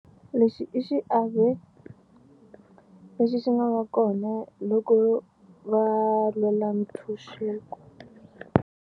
Lexi i xiave lexi xi nga va kona loko va lwela ntshunxeko.